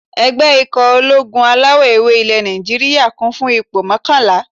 Ẹgbẹ́ ikọ̀ ológun alawọ̀-ewé ilẹ̀ Nàìjíríyà, kún fún ipò mọ́kànlá